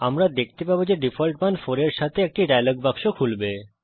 আমরা দেখতে পাবো যে ডিফল্ট মান 4 এর সঙ্গে একটি ডায়লগ বাক্স খুলবে